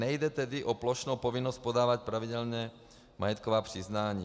Nejde tedy o plošnou povinnost podávat pravidelně majetková přiznání.